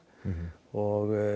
og